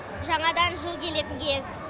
жаңадан жыл келетін кез